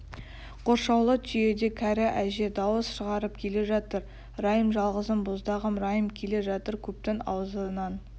қоршаулы түйеде кәрі әже дауыс шығарып келе жатыр райым жалғызым боздағым райым келе жатыр көптің аузынан